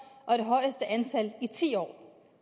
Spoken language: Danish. og det højeste antal i ti år